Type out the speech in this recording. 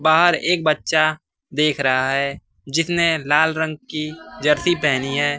बाहर एक बच्चा देख रहा है जिसने लाल रंग के जर्सी पहनी है।